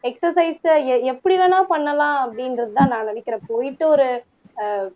exercise எப்படி வேணா பண்ணலாம் அப்படின்றதுதான் நான் நினைக்கிறேன் போயிட்டு ஒரு ஆஹ்